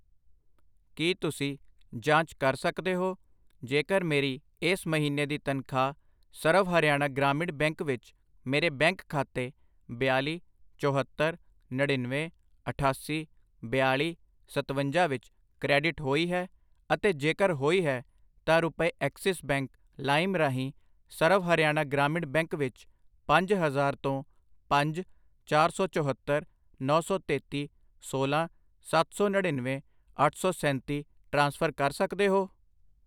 ਕਿ ਤੁਸੀਂ ਜਾਂਚ ਕਰ ਸਕਦੇ ਹੋ ਜੇਕਰ ਮੇਰੀ ਇਸ ਮਹੀਨੇ ਦੀ ਤਨਖਾਹ ਸਰਵ ਹਰਿਆਣਾ ਗ੍ਰਾਮੀਣ ਬੈਂਕ ਵਿੱਚ ਮੇਰੇ ਬੈਂਕ ਖਾਤੇ ਬਿਆਲੀ, ਚੋਹੱਤਰ, ਨੜਿਨਵੇਂ, ਅਠਾਸੀ, ਬਿਆਲੀ, ਸਤਵੰਜਾ ਵਿੱਚ ਕ੍ਰੈਡਿਟ ਹੋਈ ਹੈ, ਅਤੇ ਜੇਕਰ ਹੋਈ ਹੈ, ਤਾਂ ਰੁਪਏ ਐਕਸਿਸ ਬੈਂਕ ਲਾਇਮ ਰਾਹੀਂ ਸਰਵ ਹਰਿਆਣਾ ਗ੍ਰਾਮੀਣ ਬੈਂਕ ਵਿੱਚ ਪੰਜ ਹਜ਼ਾਰ ਤੋਂ ਪੰਜ, ਚਾਰ ਸੌ ਚੋਹੱਤਰ, ਨੌਂ ਸੌ ਤੇਤੀ, ਸੋਲਾਂ, ਸੱਤ ਸੌ ਨੜਿਨਵੇਂ, ਅੱਠ ਸੌ ਸੈਂਤੀ ਟ੍ਰਾਂਸਫਰ ਕਰ ਸਕਦੇ ਹੋ ?